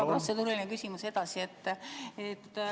Mu protseduuriline küsimus jätkub.